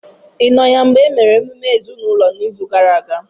ị nọ ya mgbe e mere emume ezinụlọ n'izu gara aga?